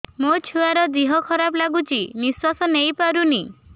ମୋ ଛୁଆର ଦିହ ଖରାପ ଲାଗୁଚି ନିଃଶ୍ବାସ ନେଇ ପାରୁନି